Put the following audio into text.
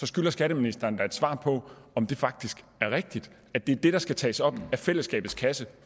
skylder skatteministeren da et svar på om det faktisk er rigtigt at det er det der skal tages op af fællesskabets kasse